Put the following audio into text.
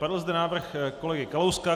Padl zde návrh kolegy Kalouska.